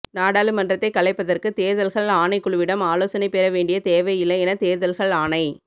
நாடாளுமன்றத்தை கலைப்பதற்கு தேர்தல்கள் ஆணைக்குழுவிடம் ஆலோசனை பெற வேண்டிய தேவை இல்லை என தேர்தல்கள் ஆணை